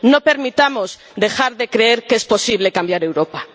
No permitamos dejar de creer que es posible cambiar Europa.